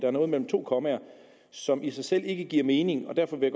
er noget mellem to kommaer som i sig selv ikke giver mening og derfor vil